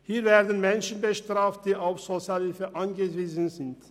Hier werden Menschen bestraft, die auf Sozialhilfe angewiesen sind.